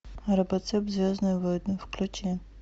робоцып звездные войны включи